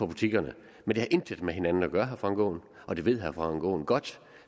butikkerne men det har intet med hinanden at gøre herre frank aaen og det ved herre frank aaen godt